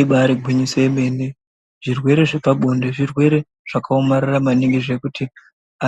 Ibaari gwinyiso yemene. Zvirwere zvepabonde Zvirwere zvakaomarara maningi zvekuti